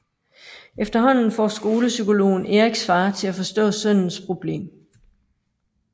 Efterhånden får skolepsykologen Eriks far til at forstå sønnens problem